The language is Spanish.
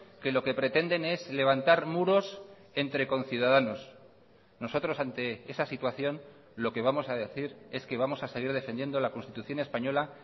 que lo que pretenden es levantar muros entre conciudadanos nosotros ante esa situación lo que vamos a decir es que vamos a seguir defendiendo la constitución española